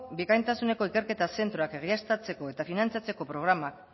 bikaintasuneko ikerketa zentroak egiaztatzeko eta finantzatzeko programak